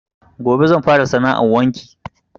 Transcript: Gobe zan fara sana 'an wanki